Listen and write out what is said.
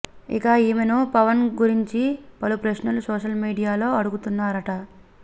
ఇక ఈమెను పవన్ గురించిన పలు ప్రశ్నలు సోషల్ మీడియాలో అడుగుతున్నారట